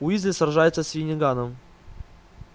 уизли сражается с финниганом